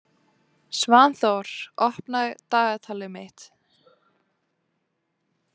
Svanþór, opnaðu dagatalið mitt.